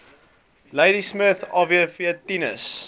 ladismith adv tinus